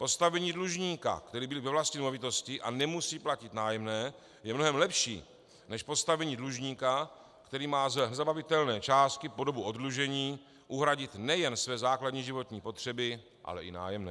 Postavení dlužníka, který bydlí ve vlastní nemovitosti a nemusí platit nájemné, je mnohem lepší než postavení dlužníka, který má ze zabavitelné částky po dobu oddlužení uhradit nejen své základní životní potřeby, ale i nájemné.